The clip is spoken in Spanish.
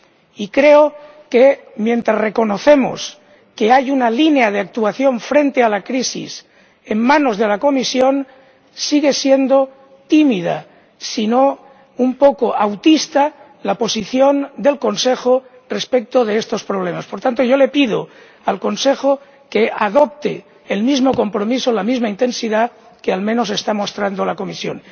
Y creo que, mientras reconocemos que hay una línea de actuación frente a la crisis en manos de la Comisión, sigue siendo tímida ―si no un poco autista― la posición del Consejo respecto de estos problemas. Por tanto, yo le pido al Consejo que adopte el mismo compromiso con la misma intensidad que al menos está mostrando la Comisión.